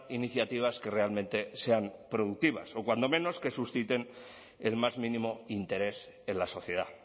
iniciativas que realmente sean productivas o cuando menos que susciten el más mínimo interés en la sociedad